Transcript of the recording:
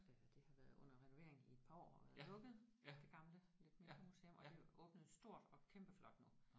Øh det har været under renovering i et par år og været lukket det gamle lidt mindre museum og det åbnede stort og kæmpe flot nu